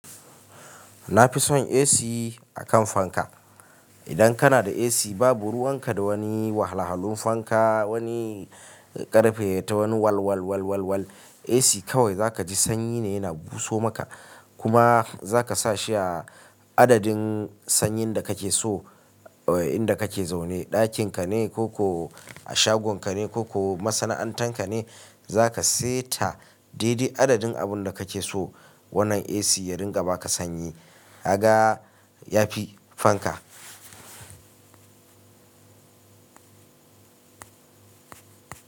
Na fi son AC a kan fanka. Idan kana da AC babu ruwan ka da wani wahalhalun fanka, wani ƙarfe ya ta wani walwalwalwalwal. AC kawai za ka ji sanyi ne yana buso maka. Kuma za ka sa shi a adadin sanyin da kake so, inda kake zaune, ɗakin ka ne ko ko a shagon ka ne ko ko masana'anta ka ne, za ka seta daidai adadin abun da kake so wannan AC ya ringa ba ka sanyi. Aga ya pi fanka.